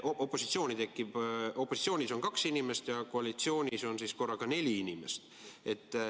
Opositsioonis on kaks inimest ja koalitsioonis on siis korraga neli inimest.